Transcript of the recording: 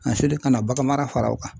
A selen ka na baganmara fara o kan.